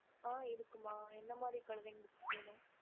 okey mam குழந்திகா book வேணும்